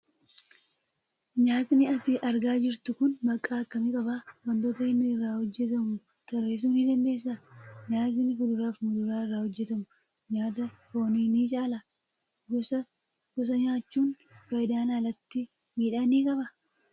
Nyyaatni ati argaa jirtu kun maqaa akkamii qaba? wantoota inni irraa hojjetamu tarreessuu ni dandeessaa? Nyaatni fuduraa fi muduraa irraa hojjetamu, nyaata foonii ni caalaa? Gosaa gosa nyaachuun faayidaan alatti miidhaa ni qabaa?